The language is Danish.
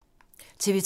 TV 2